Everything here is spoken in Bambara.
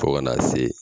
Fo kana se